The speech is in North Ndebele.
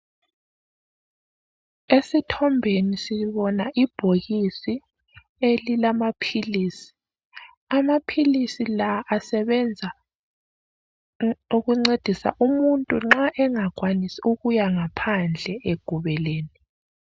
Esithombeni sibona ibhokisi elilamaphilisi. Amaphilisi la asebenza ukuncedisa umuntu nxa engakwanisi ukuya ngaphandle egubelene.